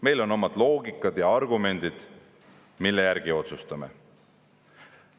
Meil on omad loogikad ja argumendid, mille järgi me otsustame.